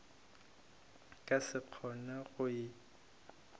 ka se kgone go e